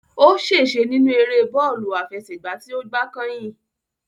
Ó ṣèse nínú eré bọ́ọ̀lù àfẹsẹ̀gbá tí ó gbá kányìn